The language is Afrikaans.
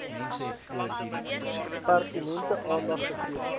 pertinente aandag gegee